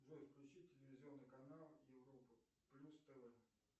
джой включи телевизионный канал европа плюс тв